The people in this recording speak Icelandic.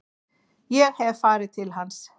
Ég hef farið til hans.